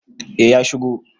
eh ya shigo